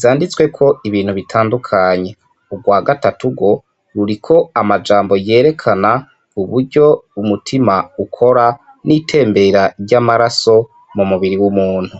zanditsweko ibintu bitandukanye ubwa gatatu gwo ruriko amajambo yerekana uburyo umutima ukora n'itembera ryamae raso mu mubiri w'umuntu.